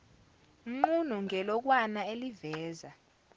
nqunu ngelokwana eliveza